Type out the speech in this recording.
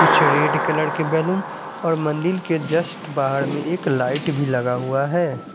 कुछ red colour के balloon और मंदिल के जस्ट बाहर में एक लाइट भी लगा हुआ है।